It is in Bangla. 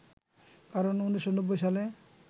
কারণ ১৯৯০ সালে